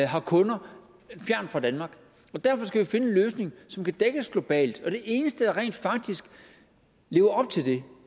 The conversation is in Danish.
har kunder fjernt fra danmark og derfor skal vi finde en løsning som kan dække os globalt det eneste der rent faktisk lever op til det